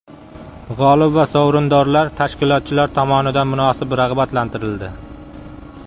G‘olib va sovrindorlar tashkilotchilar tomonidan munosib rag‘batlantirildi.